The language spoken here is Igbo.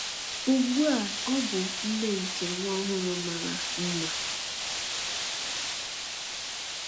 Ugbu a ọ bụ nne nke nwa ọhụrụ mara mma.